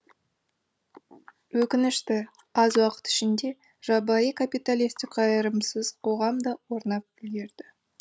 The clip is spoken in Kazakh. өкінішті аз уақыт ішінде жабайы капиталистік қайырымсыз қоғам да орнап үлгерді